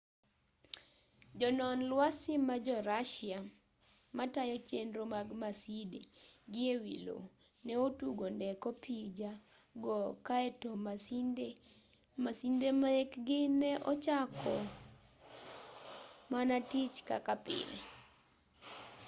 jonon lwasi ma jo russia matayo chenro mag maside gi e wi lowo ne otugo ndek opija go kaeto masinde mekgi ne ochako mana tich kaka pile